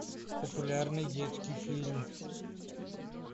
популярный детский фильм